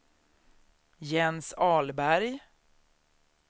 Jens Ahlberg